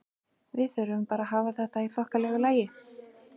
Við þurfum bara að hafa þetta í þokkalegu lagi.